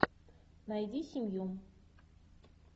найди семью